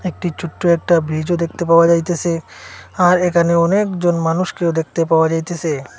একটি ছোট্ট একটা ব্রিজও দেখতে পাওয়া যাইতেছে আর এখানে অনেক জন মানুষকেও দেখতে পাওয়া যাইতেছে।